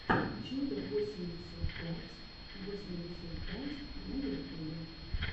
чудо восемьдесят пять восемьдесят пять на ютубе